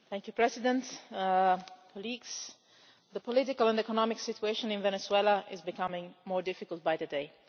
Mr President, the political and economic situation in Venezuela is becoming more difficult by the day.